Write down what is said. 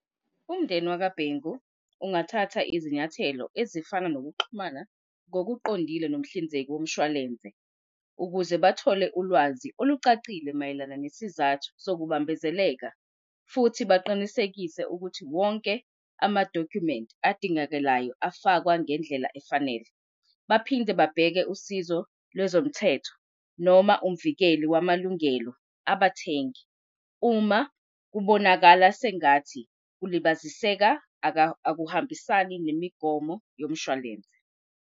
Umndeni WakaBhengu ungathatha izinyathelo ezifana nokuxhumana ngokuqondile nomhlinzeki womshwalense ukuze bathole ulwazi olucacile mayelana nesizathu sokubambezeleka. Futhi baqinisekise ukuthi wonke amadokhumenti adingekalayo afakwa ngendlela efanele. Baphinde babheke usizo lwezomthetho noma umvikeli wamalungelo abathengi, uma kubonakala sengathi kubaziseka akuhambisani nemigomo yomshwalense.